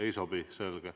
Ei sobi, selge.